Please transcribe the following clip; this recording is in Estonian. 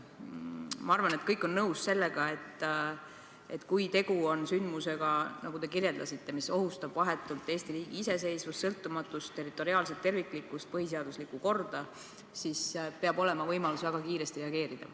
Ma arvan, et kõik on nõus, et kui tegu on sündmusega, mis, nagu te kirjeldasite, ohustab vahetult Eesti riigi iseseisvust, sõltumatust, territoriaalset terviklikkust või põhiseaduslikku korda, siis peab olema võimalus väga kiiresti reageerida.